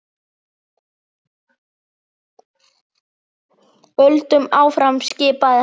Höldum áfram skipaði hann.